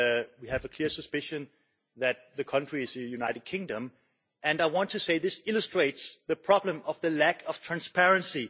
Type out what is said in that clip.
We have a clear suspicion that the country is the United Kingdom, and I want to say that this illustrates the problem of the lack of transparency.